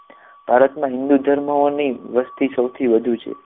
ભારતમાં હિંદુ ધર્મ ઓની વસ્તી સૌથી વધુ છે